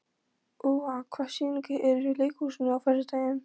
Úa, hvaða sýningar eru í leikhúsinu á föstudaginn?